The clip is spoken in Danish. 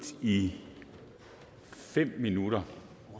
i fem minutter